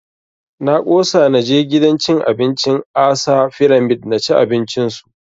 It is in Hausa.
Na ƙosa na je gidan cin abincin ASAA fyramid na ci abinci su